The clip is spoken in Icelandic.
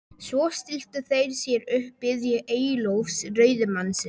Svo stilltu þeir sér upp og biðu Eyjólfs, ræðumannsins.